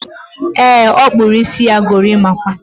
E, ọ kpụrụ isi ya gorimakwa